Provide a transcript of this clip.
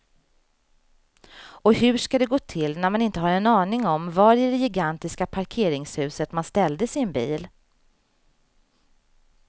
Och hur ska det gå till när man inte har en aning om var i det gigantiska parkeringshuset man ställde sin bil.